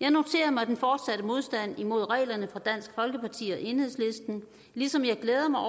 jeg noterer mig den fortsatte modstand imod reglerne fra dansk folkeparti og enhedslisten ligesom jeg glæder mig